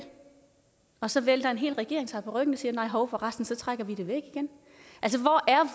og så vælter en hel regering sig på ryggen og siger nej hov for resten så trækker vi det væk igen